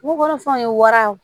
Bukɔrɔ fɛnw ye waraw